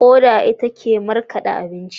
Koda ita ke markade abinci.